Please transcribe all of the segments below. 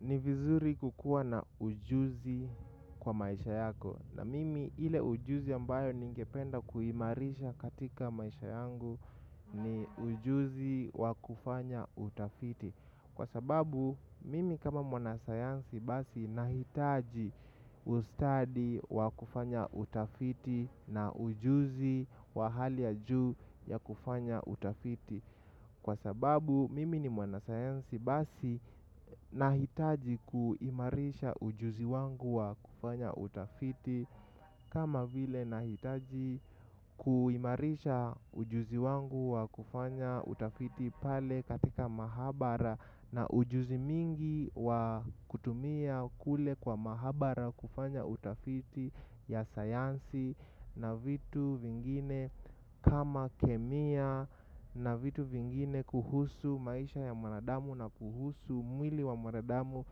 Ni vizuri kukua na ujuzi kwa maisha yako na mimi ile ujuzi ambayo ningependa kuimarisha katika maisha yangu ni ujuzi wa kufanya utafiti. Kwa sababu mimi kama mwanasayansi basi nahitaji ustadi wa kufanya utafiti na ujuzi wa hali ya juu ya kufanya utafiti. Kwa sababu mimi ni mwana sayansi basi na hitaji kuimarisha ujuzi wangu wa kufanya utafiti. Kama vile na hitaji kuimarisha ujuzi wangu wa kufanya utafiti pale katika mahabara. Na ujuzi mingi wa kutumia kule kwa mahabara kufanya utafiti ya sayansi na vitu vingine. Kama kemia na vitu vingine kuhusu maisha ya mwana damu na kuhusu mwili wa mwana damu.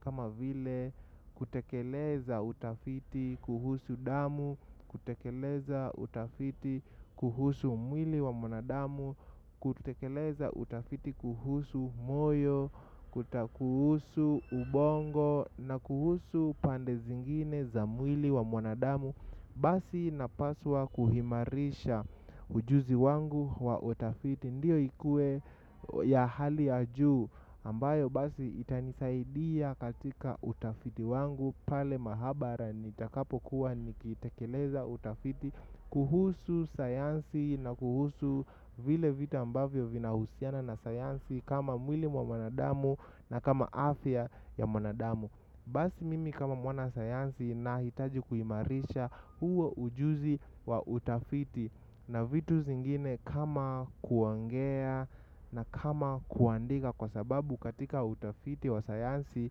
Kama vile kutekeleza utafiti kuhusu damu kutekeleza utafiti kuhusu mwili wa mwana damu kutekeleza utafiti kuhusu moyo kutakuhusu ubongo na kuhusu pande zingine za mwili wa mwana damu. Basi napaswa kuimarisha ujuzi wangu wa utafiti. Ndiyo ikuwe ya hali ya juu ambayo basi itanisaidia katika utafiti wangu. Pale mahabara nitakapokuwa nikitekeleza utafiti kuhusu sayansi na kuhusu vile vitu ambavyo vinahusiana na sayansi. Kama mwili mwanadamu na kama afya ya mwanadamu. Basi mimi kama mwana sayansi nahitaji kuimarisha huo ujuzi wa utafiti na vitu zingine kama kuongea na kama kuandika kwa sababu katika utafiti wa sayansi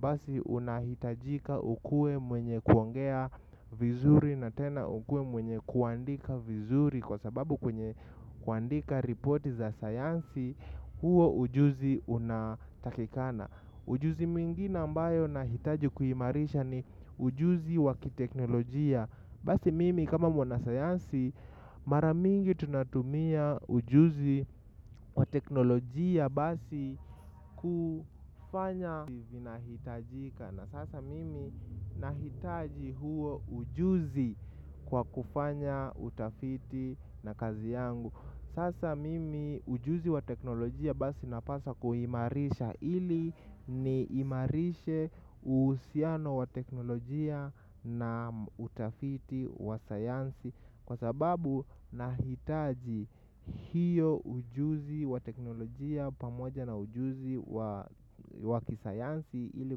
basi unahitajika ukuwe mwenye kuongea vizuri na tena ukuwe mwenye kuandika vizuri kwa sababu kwenye kuandika report za sayansi huo ujuzi unatakikana. Ujuzi mwingine ambayo nahitaji kuimarisha ni ujuzi wa kiteknolojia. Basi mimi kama mwanasayansi maramingi tunatumia ujuzi wa teknolojia basi kufanya zinahitajika basi mimi nahitaji huo ujuzi kufanya utafiti na kazi yangu. Sasa mimi ujuzi wa teknolojia basi napaswa kuimarisha ili niimarishe uhusiano wa teknolojia na utafiti wa sayansi kwa sababu nahitaji hiyo ujuzi wa teknolojia pamoja na ujuzi wa kisayansi ili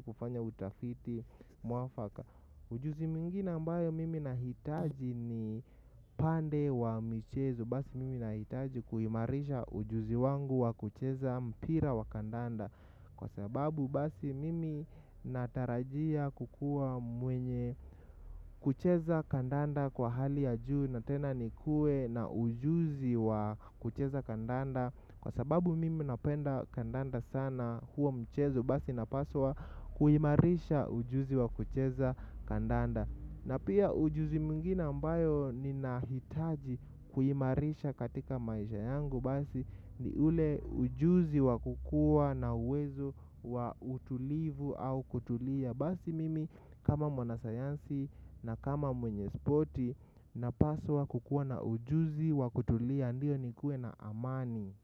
kufanya utafiti mwafaka. Ujuzi mwingine ambayo mimi nahitaji ni pande wa michezo. Basi mimi nahitaji kuimarisha ujuzi wangu wa kucheza mpira wa kandanda. Kwa sababu basi mimi natarajia kukua mwenye kucheza kandanda kwa hali ya juu na tena nikuwe na ujuzi wa kucheza khanda kwa sababu mimi napenda kandanda sana huo mchezo. Basi napaswa kuimarisha ujuzi wa kucheza kandanda. Na pia ujuzi mwingine ambayo ninahitaji kuimarisha katika maisha yangu. Basi ni ule ujuzi wa kukua na uwezo wa utulivu au kutulia. Basi mimi kama mwanasayansi na kama mwenye spoti. Napaswa kukuwa na ujuzi wa kutulia ndio nikuwe na amani.